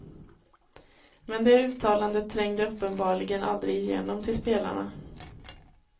Men det uttalandet trängde uppenbarligen aldrig igenom till spelarna.